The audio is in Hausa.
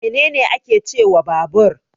Me ne ne ake cewa babur?